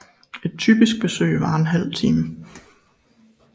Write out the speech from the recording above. Et typisk besøg varer en halv time